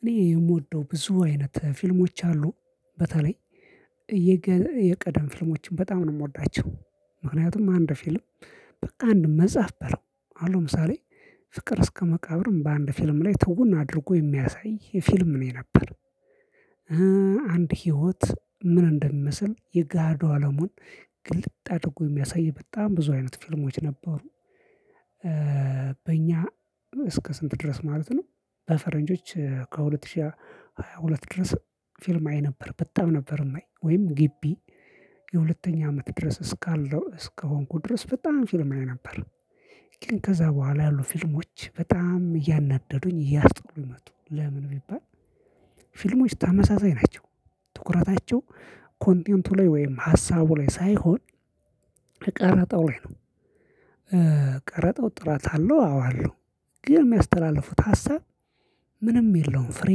እኔ የምወደው ብዙ አይነት ፊልሞች አሉ፤ በተለይ የቀደም ፊልሞችን በጣም ነው የምወዳቸው። ምክንያቱም አንድ ፊልም በቃ አንድ መጽሐፍ በለው አሁን ምሳሌ ፍቅር እስከ መቃብርን በአንድ ፊልም ላይ ትውን አድርጎ የሚያሳይ ፊልም ነው የነበር አንድ ህይወት ምን እንደሚመስል የጋሃዱ አለሙን ግልጥ አድጎ የሚያሳይ በጣም ብዙ አይነት ፊልሞች ነበሩ፤። በእኛ እስከ ስንት ድረስ ማለት ነው? በፈረንጆች ከሁለት ሺህ ሃያ ሁለት ድረስ ፊልም አይ ነበር በጣም ነበር የማይ ወይም ግቢ የሁለተኛ አመት ድረስ እስካለሁ እስከሆንኩ ድረስ በጣም ፊልም አይ ነበር። ከዛ በኋላ ያሉ ፊልሞች በጣም እያናደዱኝ እያስጠሉኝ መጡ ለምን ቢባል? ፊልሞች ተመሳሳይ ናቸው ትኩረታቸው ኮንቴንቱ ላይ ወይም ሀሳቡ ላይ ሳይሆን ቀረጠው ላይ ነው ቀረጠው ጥራት አለው አዎ አለው። ግን የሚያስተላልፉት ሀሳብ ምንም የለውም ፍሬ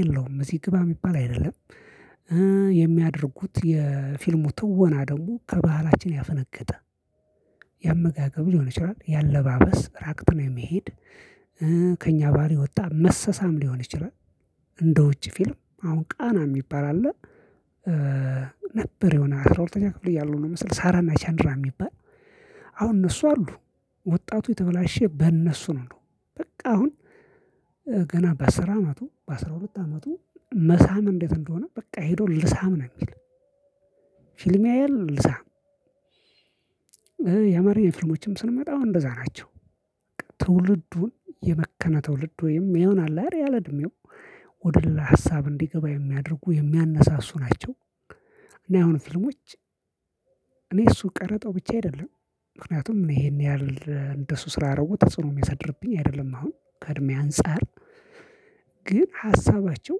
የለውም እዚህ ግባ የሚባል አይደለም። የሚያደርጉት የፊልሙ ትወና ደግሞ ከባህላችን ያፈነገጠ ያመጋገብ ሊሆን ይችላል። የአለባበስ ራቅትን የመሄድ ከእኛ ባህሪ የወጣ መሰሳም ሊሆን ይችላል። እንደ ውጪ ፊልም አሁን ቃና የሚባል አለ። ነበር የሆነ አስራ ሁለተኛ ክፍል እያለሁ ነው መሰል ሳራና ቻንድራ የሚባል አሁን እነሱ አሉ። ወጣቱ የተበላሸ በእነሱ ነው እንደው በቃ አሁን ገና በአስር አመቱ በአስራ ሁለት አመቱ መሳም እንዴት? እንደሆነ በቃ ሄዶ ልሳም ነው የሚል ፊልም ያያል ልሳም። የአማርኛ ፊልሞችም ስንመጣ አዎ እንደዛ ናቸው። ትውልዱን የመከነ ትውልድ ወይም ይሆናል አይለ እድሜው ወደ ሀሳብ እንዲገባ የሚያደርጉ የሚያነሳሱ ናቸው። እና የአሁኑ ፊልሞች እኔ እሱ ቀረጠው ብቻ አይደለም። ምክንያቱም ይሄን ያህል እንደሱ ስላረጉ ተጽዕኖ የሚያሳድርብኝ አይደለም አሁን ከእድሜ አንፃር ግን ሀሳባቸው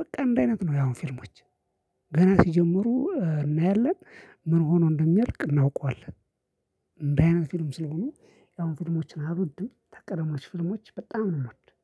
በቃ አንድ አይነት ነው ያሁን ፊልሞች። ገና ሲጀምሩ እናያለን ምን ሆኖ እንደሚያልቅ እናውቀዋለን። እንደዚህ አይነት ፊልም ስለሆኑ የአሁን ፊልሞችን አልወድም ተቀደሞች ፊልሞች በጣም ነው የምወድበት።